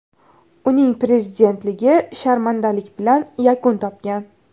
Uning prezidentligi sharmandalik bilan yakun topgan.